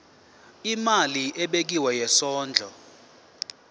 imali ebekiwe yesondlo